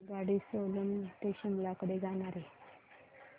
आगगाडी सोलन ते शिमला कडे जाणारी